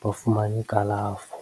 ba fumane kalafo.